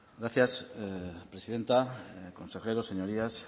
gracias presidenta consejeros señorías